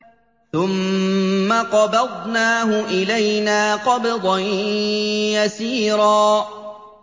ثُمَّ قَبَضْنَاهُ إِلَيْنَا قَبْضًا يَسِيرًا